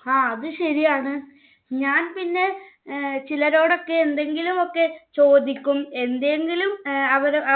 ങ്ഹാ അത് ശരിയാണ്. ഞാൻ പിന്നെ ചിലരോടൊക്കെ എന്തെങ്കിലുമൊക്കെ ചോദിക്കും. എന്തെങ്കിലും